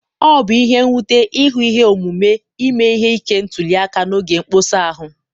Ọ bụ ihe nwute ịhụ ihe omume ime ihe ike ntuli aka n'oge mkpọsa ahụ.